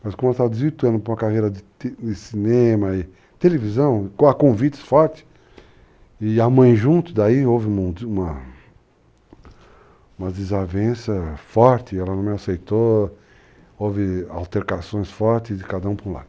Mas como eu estava desvirtuando para uma carreira de cinema e televisão, com convites fortes, e a mãe junto, daí houve uma desavença forte, ela não me aceitou, houve altercações fortes de cada um para um lado.